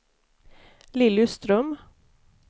Lilly Ström